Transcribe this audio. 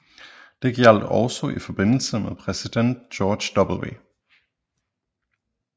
Det gjaldt også i forbindelse med præsident George W